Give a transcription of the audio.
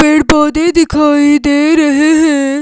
पेड़ पौधे दिखाई दे रहे हैं।